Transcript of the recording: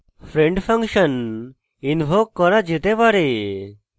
friend function invoke করা যেতে পারে